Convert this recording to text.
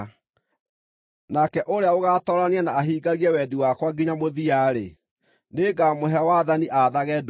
Nake ũrĩa ũgaatoorania na ahingagie wendi wakwa nginya mũthia-rĩ, nĩngamũhe wathani aathage ndũrĩrĩ: